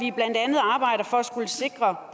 sikker